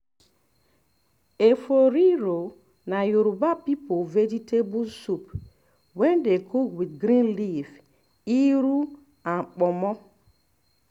efo riro na yoruba people vegetable soup wey dey cook with green leaf iru and ponmo